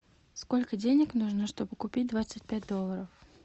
сколько денег нужно чтобы купить двадцать пять долларов